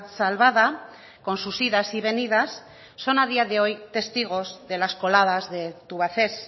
salvada con sus idas y venidas son a día de hoy testigos de las coladas de tubacex